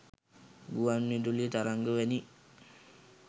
ගුවන් විදුලි තරංග වැනි